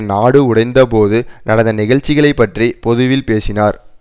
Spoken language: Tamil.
நாடு உடைந்தபோது நடந்த நிகழ்ச்சிகளைப்பற்றி பொதுவில் பேசினார்